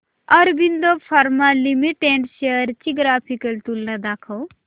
Aurobindo pharma limited shares ची graphical तुलना दाखव